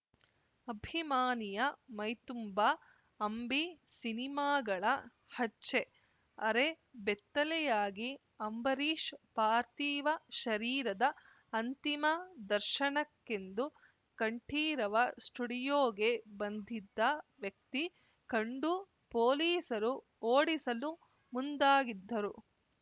ಅಭಿಮಾನಿಯ ಮೈತುಂಬಾ ಅಂಬಿ ಸಿನಿಮಾಗಳ ಹಚ್ಚೆ ಅರೆ ಬೆತ್ತಲೆಯಾಗಿ ಅಂಬರೀಷ್‌ ಪಾರ್ಥಿವ ಶರೀರದ ಅಂತಿಮ ದರ್ಶನಕ್ಕೆಂದು ಕಂಠೀರವ ಸ್ಟುಡಿಯೋಗೆ ಬಂದ್ದಿದ್ದ ವ್ಯಕ್ತಿ ಕಂಡು ಪೊಲೀಸರು ಓಡಿಸಲು ಮುಂದಾಗಿದ್ದರು